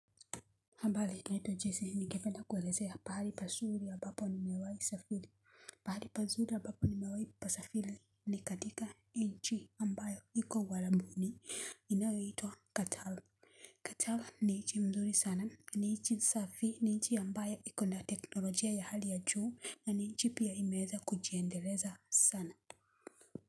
Ambali naitwa jese ningependa kuelezea pahali pasuri abapo nimewai safili pahali pasuri abapo nimewai pasafili ni katika nchi ambayo iko uarambuni inayoitwa katal Katal ni inchi mzuri sana ni inchi safi ni nchi ambayo ikona teknolojia ya hali ya juu na ni nchi pia imeza kujiendeleza sana.